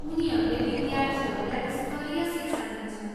उनीहरूले विद्यार्थीहरूलाई स्तरीय शिक्षा दिन्छन्।